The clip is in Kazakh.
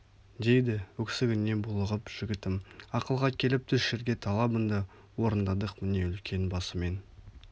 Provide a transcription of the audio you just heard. дейді өксігіне булығып жігітім ақылға келіп түс жерге талабыңды орындадық міне үлкен басымен